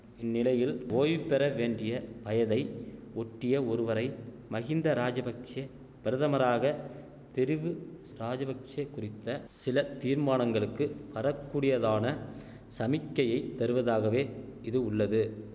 இந்நிலையில் ஓய்பெறவேண்டிய வயதை ஒட்டிய ஒருவரை மகிந்த ராஜபக்ஷெ பிரதமராக தெரிவு ராஜபக்ஷெ குறித்த சில தீர்மானங்களுக்கு வரக்கூடியதான சமிக்கையை தருவதாகவே இது உள்ளது